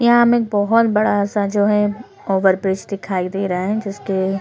यहाँ हमें एक बोहत बड़ा सा जो है ओवर ब्रिज दिखाई दे रहा है जिसके--